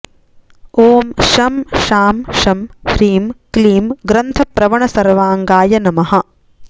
ॐ शं शां षं ह्रीं क्लीं ग्रन्थप्रवणसर्वाङ्गाय नमः